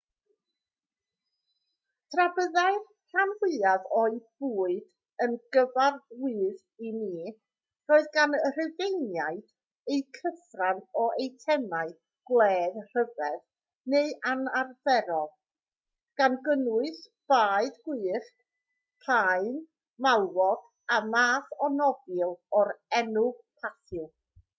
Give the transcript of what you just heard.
tra byddai'r rhan fwyaf o'u bwyd yn gyfarwydd i ni roedd gan y rhufeiniaid eu cyfran o eitemau gwledd rhyfedd neu anarferol gan gynnwys baedd gwyllt paun malwod a math o nofil o'r enw pathew